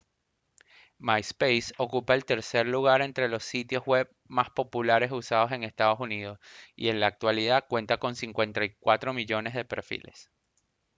myspace ocupa el tercer lugar entre los sitios web más populares usados en estados unidos y en la actualidad cuenta con 54 millones de perfiles